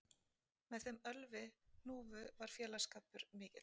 Með þeim Ölvi hnúfu var félagsskapur mikill